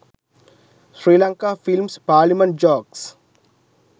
sri lanka films parliament jokes